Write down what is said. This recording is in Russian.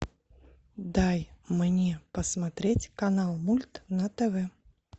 дай мне посмотреть канал мульт на тв